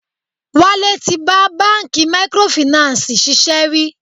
Wálé tí bá bánkì microfinancii ṣiṣẹ́ rí.